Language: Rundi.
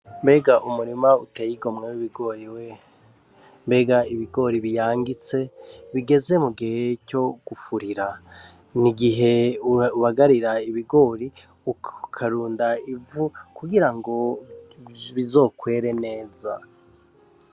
Mbega umurima uteye igomwe w’ibigori we!mbega ibigori biyangitse nigeze mu gihe co gufurira, n'igihe ubagarira ibigori ukarunda ivu kugira ngo bizokwere neza .